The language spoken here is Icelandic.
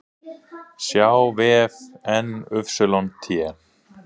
sjá vef NYT